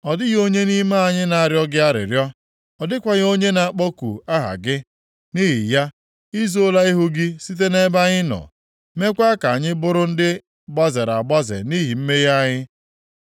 Ọ dịghị onye nʼime anyị na-arịọ gị arịrịọ; ọ dịkwaghị onye na-akpọku aha gị. Nʼihi ya, i zoola ihu gị site nʼebe anyị nọ, meekwa ka anyị bụrụ ndị gbazere agbaze nʼihi mmehie anyị.